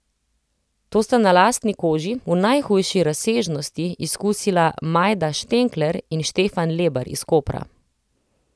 To sta na lastni koži, v najhujši razsežnosti, izkusila Majda Štenkler in Štefan Lebar iz Kopra.